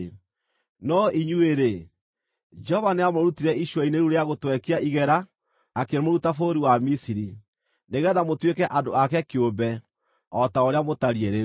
No inyuĩ-rĩ, Jehova nĩamũrutire icua-inĩ rĩu rĩa gũtwekia igera akĩmũruta bũrũri wa Misiri, nĩgeetha mũtuĩke andũ ake kĩũmbe, o ta ũrĩa mũtariĩ rĩu.